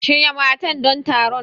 Shirya matan don taron.